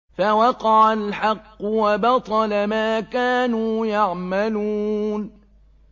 فَوَقَعَ الْحَقُّ وَبَطَلَ مَا كَانُوا يَعْمَلُونَ